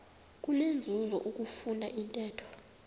kunenzuzo ukufunda intetho